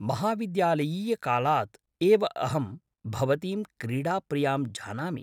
महाविद्यालयीयकालात् एव अहं भवतीं क्रीडाप्रियां जानामि।